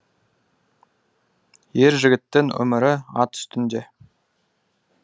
ер жігіттің өмірі ат үстінде